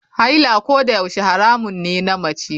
Haila kodayaushe haramun ne na mace.